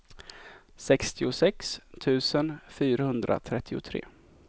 sextiosex tusen fyrahundratrettiotre